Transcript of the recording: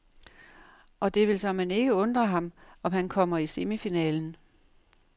Og det vil såmænd ikke undre ham, om han kommer i semifinalen.